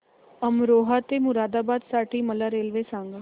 अमरोहा ते मुरादाबाद साठी मला रेल्वे सांगा